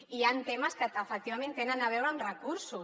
hi ha temes que efectivament tenen a veure amb recursos